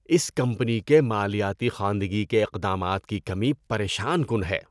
اس company کے مالیاتی خواندگی کے اقدامات کی کمی پریشان کن ہے۔